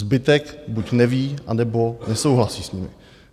Zbytek buď neví, anebo nesouhlasí s nimi.